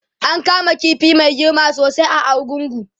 an kama ƙifi Mai girma sosai a argungu